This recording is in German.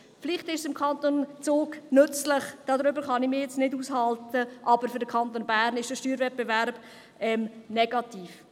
Vielleicht ist es für den Kanton Zug nützlich, darüber kann ich mich nicht auslassen, aber für den Kanton Bern ist der Steuerwettbewerb negativ.